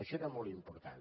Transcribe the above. això era molt important